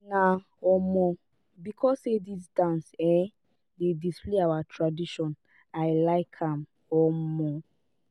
na um because sey dis dance um dey display our tradition i like am. um